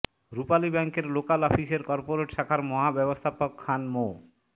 রূপালী ব্যাংকের লোকাল অফিসের কর্পোরেট শাখার মহাব্যবস্থাপক খান মো